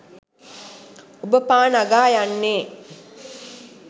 ඔබ පා නගා යන්නේ